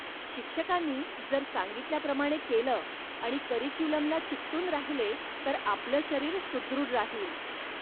शिक्षकांनी जर सांगितल्याप्रमाणे केलं आणि करिक्युलमला चिकटून राहिले तर आपलं शरीर सुद्रुढ राहील.